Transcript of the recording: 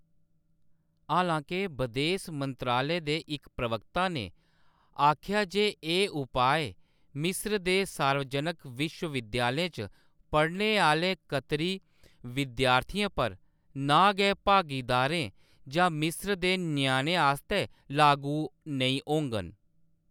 हालांके, बदेस मंत्रालय दे इक प्रवक्ता ने आखेआ जे एह्‌‌ उपाय मिस्र दे सार्वजनक विश्वविद्यालयें च पढ़ने आह्‌‌‌ले कतरी विद्यार्थियें पर, ना गै भागीदारें जां मिस्र दे ञ्याणें आस्तै लागू नेईं होङन।